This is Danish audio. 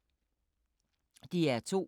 DR2